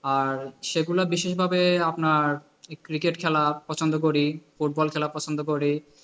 আর সেগুলা বিশেষভাবে আপনার cricket খেলা পছন্দ করি, ফুটবল খেলা পছন্দ করি।